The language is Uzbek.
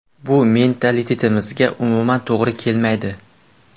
Bu mentalitetimizga umuman to‘g‘ri kelmaydi.